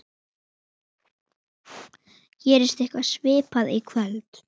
Gerist eitthvað svipað í kvöld?